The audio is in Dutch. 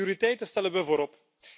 Welke prioriteiten stellen we voorop?